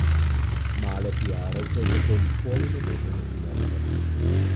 Male piarovke zato nikoli ne bodo novinarke.